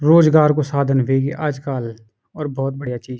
रोजगार कु साधन वेगी आजकाल और भोत बढ़िया चीज।